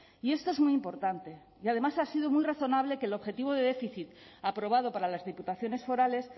y esto es muy importante y además ha sido muy razonable que el objetivo de déficit aprobado para las diputaciones forales